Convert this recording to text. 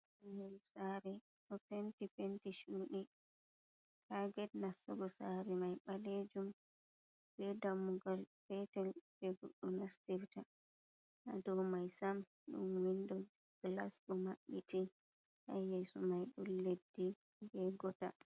Sare ɗofenti penti chuɗi ha ged nastugo sare mai balejum, be dammugal petel je goɗdo nastirta. Do mai sam dun windo gilas ɗo mabbiti, ha yeso mai dun leddi be gotal.